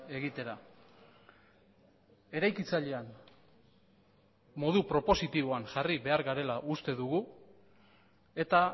egitera eraikitzailean modu propositiboan jarri behar garela uste dugu eta